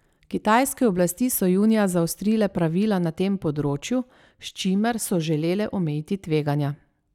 Kitajske oblasti so junija zaostrile pravila na tem področju, s čimer so želele omejiti tveganja.